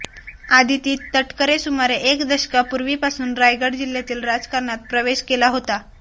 आदिती तटकरे सुमारे एक दशकापूर्वीपासून रायगड जिल्ह्यातील राजकारणात प्रवेश केला होता